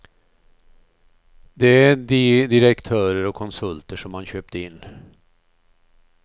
Det är de direktörer och konsulter som man köpt in.